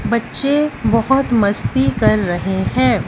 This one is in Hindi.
बच्चे बहोत मस्ती कर रहे हैं।